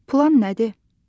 Plan nədir?